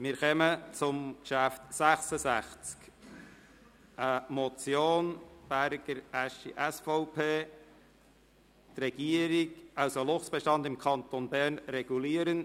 Wir kommen zum Traktandum 66, eine Motion Berger, Aeschi (SVP), «Luchsbestand im Kanton Bern regulieren».